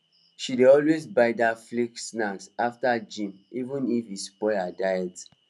she dey always buy that flaky snack after gym even if e spoil her diet